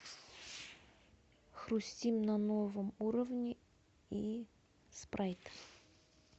хрустим на новом уровне и спрайт